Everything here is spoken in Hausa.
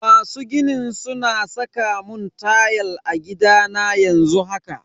Masu ginin suna saka mun tayal a gidana yanzu haka.